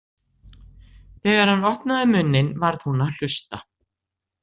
Þegar hann opnaði munninn varð hún að hlusta.